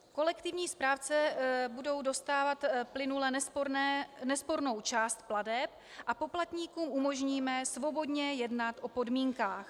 Kolektivní správci budou dostávat plynule nespornou část plateb a poplatníkům umožníme svobodně jednat o podmínkách.